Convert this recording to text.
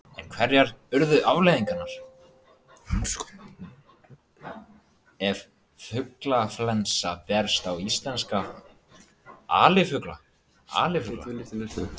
En hverjar yrðu afleiðingarnar ef fuglaflensa berst í íslenska alifugla?